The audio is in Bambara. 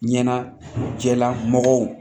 Ɲɛnajɛlamɔgɔw